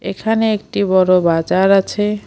এখানে একটি বড় বাজার আছে।